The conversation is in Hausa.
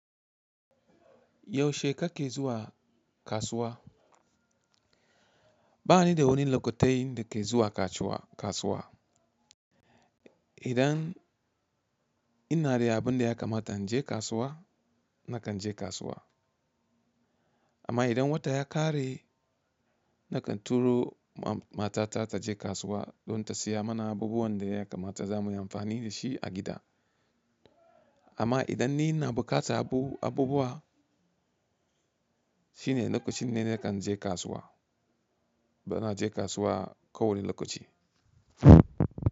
Yaushe ka ke zuwa kasuwa? Ba ni da wani lokutai da ke zuwa kasuwa. Idan ina da abin da ya kamata in je kasuwa, nakan je kasuwa. Amma idan wata ya ƙare, nakan turo matata ta je kasuwa don ta saya mana abubuwan da ya kamata za mu yi amfani da shi a gida. Amma idan ni ina buƙatar abubuwa, shine lokacin da nakan je kasuwa. Bana je kasuwa kowani lokaci.